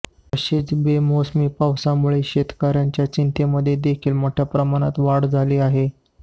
तसेच बेमोसमी पावसामुळे शेतकऱ्यांच्या चिंतेमध्ये देखील मोठ्या प्रमाणात वाढ झाली आहे